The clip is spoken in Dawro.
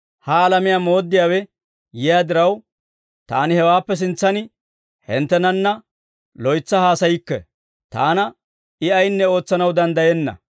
«Ha alamiyaa mooddiyaawe yiyaa diraw, Taani hawaappe sintsan hinttenanna loytsa haasayikke. Taana I ayinne ootsanaw danddayenna.